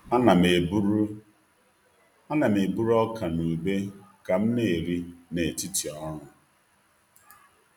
A na'm-eburu A na'm-eburu ọka na ube ka m na-eri n’etiti ọrụ.